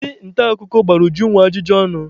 Ndị nta akụkọ gbara Ujunwa ajụjụ ọnụ.